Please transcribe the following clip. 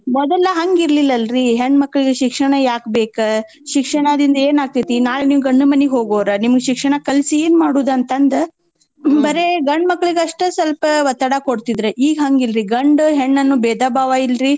ಮೊದಲ ಹಂಗ ಇರ್ಲಿಲ್ಲರೀ ಹೆಣ್ಮಕ್ಳಿಗೆ ಶಿಕ್ಷಣಾ ಯಾಕ್ ಬೇಕ್ ಶಿಕ್ಷಣದಿಂದ್ ಏನ್ ಆಕ್ತೇತಿ ನಾಳೇ ನೀವ್ ಗಂಡನ್ಮನೀಗ್ ಹೋಗೋರ್ ನಿಮ್ಗ ಶಿಕ್ಷಣಾ ಕಲ್ಸೀ ಏನ್ ಮಾಡೋದಂತಂದ್ ಬರೇ ಗಂಡ್ಮಕ್ಲೀಗ್ ಅಸ್ಟ್ ಸ್ವಲ್ಪ ಒತ್ತಡಾ ಕೊಡ್ತಿದ್ರ ಈಗ್ ಹಂಗಿಲ್ರೀ ಗಂಡು ಹೆಣ್ಣೂಅನ್ನೋ ಬೇದಾ ಬಾವ ಇಲ್ರಿ.